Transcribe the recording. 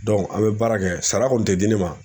an bɛ baara kɛ, sara kun tɛ di ne ma.